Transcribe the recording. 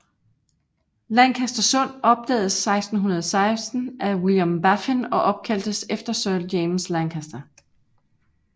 Lancaster Sund opdagedes 1616 af William Baffin og opkaldtes efter Sir James Lancaster